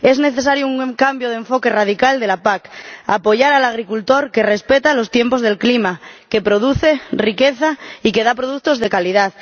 Es necesario un cambio de enfoque radical de la PAC apoyar al agricultor que respeta los tiempos del clima, que produce riqueza y que da productos de calidad.